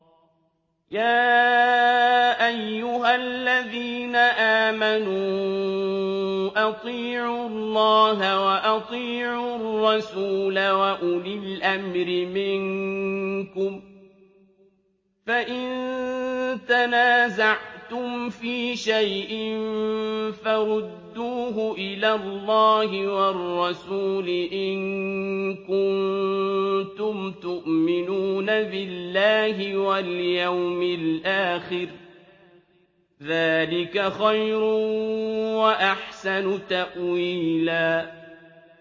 يَا أَيُّهَا الَّذِينَ آمَنُوا أَطِيعُوا اللَّهَ وَأَطِيعُوا الرَّسُولَ وَأُولِي الْأَمْرِ مِنكُمْ ۖ فَإِن تَنَازَعْتُمْ فِي شَيْءٍ فَرُدُّوهُ إِلَى اللَّهِ وَالرَّسُولِ إِن كُنتُمْ تُؤْمِنُونَ بِاللَّهِ وَالْيَوْمِ الْآخِرِ ۚ ذَٰلِكَ خَيْرٌ وَأَحْسَنُ تَأْوِيلًا